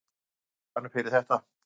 Þriggja leikja bann fyrir þetta?